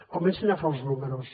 comencin a fer els números